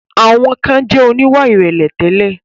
Àwọn kan jẹ̀ oníwà ìrẹ̀lẹ̀ tẹ́lẹ̀.